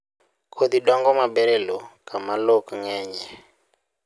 Kodhi dongo maber e lowo kama lowo ok ng'enyie